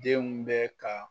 Denw bɛ ka